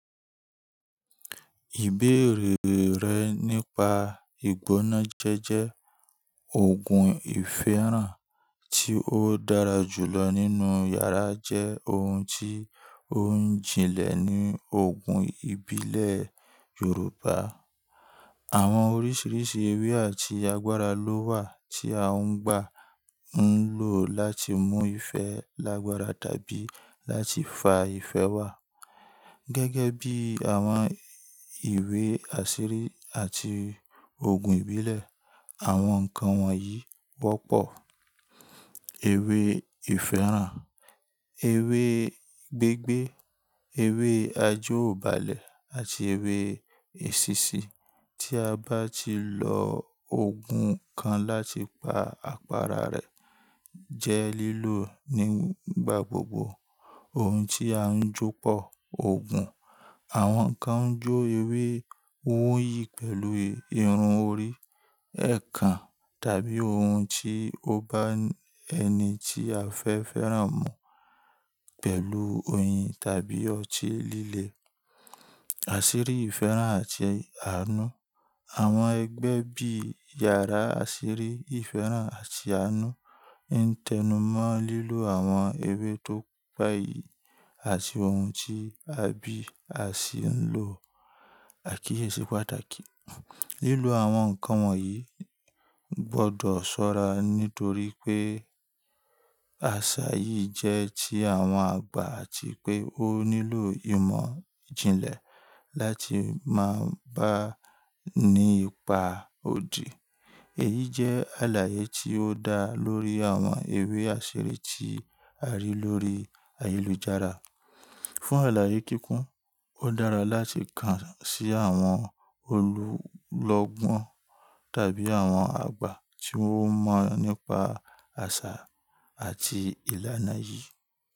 Ìbéèrè rẹ nípa ìgbónájẹ́jẹ́, òògùn ìfẹ́ràn tí ó dára jù lọ nínú yàrá jẹ́ ohun tí ó ń jinlẹ̀ ní òògùn ìbílẹ̀ Yorùbá. Àwọn oríṣiríṣi ewé àti agbára ló wà tí a ń gbà ń lò láti mú ìfẹ́ lágbára tàbí láti fa ìfẹ́ wá. Gẹ́gẹ́ bí àwọn ìwé àṣírí àti òògùn ìbílẹ̀, àwọn ǹkan wọ̀nyí wọ́pọ̀: ewé ìfẹ́ràn, ewé gbé gbé, ewé ajeòbalẹ̀ àti ewé èsísí. Tí a bá ti lo òògùn kan láti pa àpára rẹ̀ jẹ́ lílò nígbà gbogbo. Ohun tí a ń jó pọ̀ òògùn, àwọn ǹkan ń jó ewé, ó ń yí pẹ̀lú irun orí, ẹ̀kán tàbí ohun tí ó bá ẹni tí a fẹ́ fẹ́ràn mu pẹ̀lú oyin tàbí ọtí líle. Àṣírí ìfẹ́ràn àti àánú, àwọn ẹgbẹ́ bí yàrá àṣírí ìfẹ́ràn àti àánú ń tẹnumọ́ lílò àwọn ewé tó gbayì àti ohun tí a bí a sì ń lò àkíyèsí pàtàkì. Lílò àwọn ǹkan wọ̀nyí gbọ́dọ̀ ṣọ́ra nítorí pé àṣà yìí jẹ́ ti àwọn àgbà àti pé ó nílò ìmọ̀ ìjìnlẹ̀ láti máa bá a ní ipa odi. Èyí jẹ́ àlàyé tí ó dá lórí àwọn ewé àṣírí tí a rí lórí ayélujára. Fún àlàyé kíkún, ó dára láti kàn sí àwọn olúlọ́gbọ́n tàbí àwọn àgbà tí wọ́n mọ̀ nípa àṣà àti ìlànà yìí.